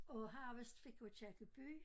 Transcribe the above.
Og han vist fik Aakirkeby